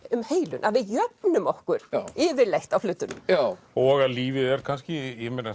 um heilun að við jöfnum okkur yfirleitt á hlutunum og að lífið er kannski